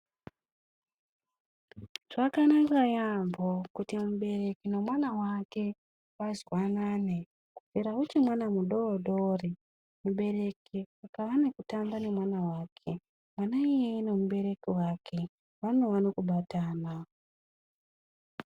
Zvakanaka yambo kuti mubereki nemwana wake vazwanane kubvira uchiri mwana mudodori mubereki panenge achitamba nemwana wake mwana iyeye nemubereki wake vanova nekubatana.